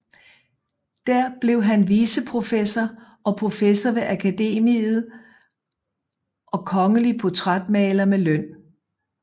Der blev han viceprofessor og professor ved Akademiet og kongelig portrætmaler med løn